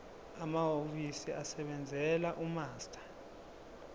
amahhovisi asebenzela umaster